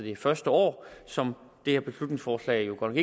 det første år som det her beslutningsforslag godt